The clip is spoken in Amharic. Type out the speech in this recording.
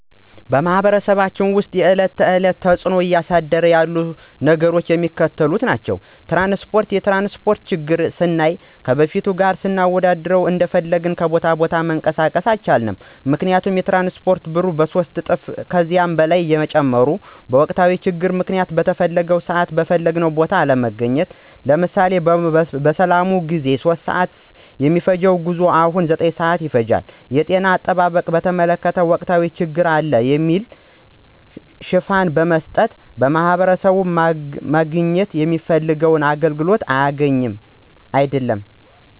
በማህበረሰባችን ውስጥ የዕለት ተዕለት ተፅዕኖ እያሳደሩ ያሉ ነገሮች የሚከተሉት ናቸው። ፩) ትራንስፓርት፦ የትራንስፓርት ችግርን ስናይ ከበፊቱ ጋር ስናወዳድረው እንደፈለግን ከቦታ ቦታ መንቀሳቀስ አንችልም ምክንያቱም የትራንስፓርቱ ብር በሶስት እጥፍ እና ከዚያ በላይ መጨመሩ፤ በወቅታዊ ችግር ምክንያት በተፈለገው ስዓት በፈለግንው ቦታ አለመገኘት። ለምሳሌ፦ በሰላሙ ጊዜ 3:00 ስዓት የሚፈጅው ጉዞ አሁን ላይ 9:00 ስዓት ይፈጃል። ፪) የጤና አጠባበቅን በተመለከተ ወቅታዊ ችግር አለ በሚል ሽፋን በመስጠት ማህበረሰቡ ማግኘት የሚችለውን አገልግሎት እያገኘ አይድለም።